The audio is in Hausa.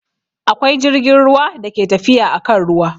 Akwai jirgin ruwa da ke tafiya akan ruwa